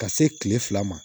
Ka se kile fila ma